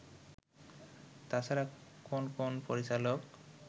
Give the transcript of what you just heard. তাছাড়া কোন কোন পরিচালক